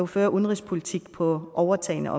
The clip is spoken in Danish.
føre udenrigspolitik på overtagne